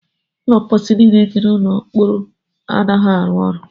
Ụlọ mposi niile dị n'ụlọ mkpọrọ anaghịzi arụ ọrụ.